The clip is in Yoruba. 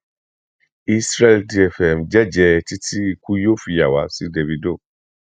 isreal dfm jẹjẹẹ títí ikú yóò fi yà wá sí dávido